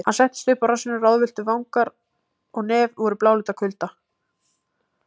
Hann settist upp á rassinn ráðvilltur, vangar og nefið voru bláleit af kulda.